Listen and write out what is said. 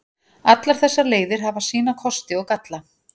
Allar þessar leiðir hafa sína kosti og galla.